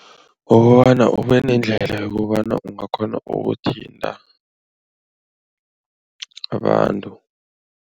Ngokobana ube nendlela yokobana ungakghona ukuthinta abantu.